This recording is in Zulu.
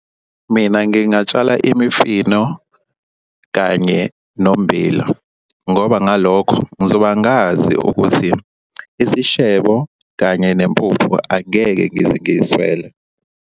Mina ngingatshala imifino kanye nommbila ngoba ngalokho ngizoba ngazi ukuthi isishebo kanye nempuphu angeke ngize ngiswele.